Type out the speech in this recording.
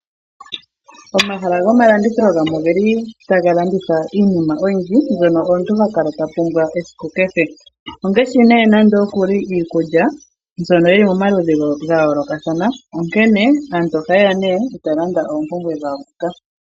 Omahala gomalandithilo gamwe oge li taga landitha iinima oyindji, mbyono omuntu ha kala ta pumbwa esiku kehe. Ongashi iikulya mbyono yi li momaludhi ga yooloka, onkene aantu ohaye ya e taya landa oompumbwe dhawo moka.